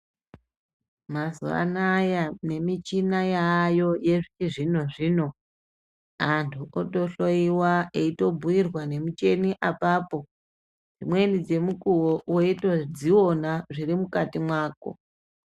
Mazuva anaya nemichini yaako yechizvinozvino antu otohloyiwa eibhuirwa ngemicheni apapo dzimweni dzemukowo weitozviona zvirimukati mwako .